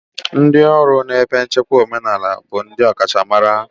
Ndị ọrụ na ebe nchekwa omenala bụ ndị ọkachamara.